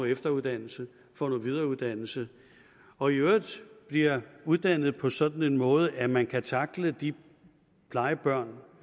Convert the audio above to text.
efteruddannelse får noget videreuddannelse og i øvrigt bliver uddannet på sådan en måde at man kan tackle de plejebørn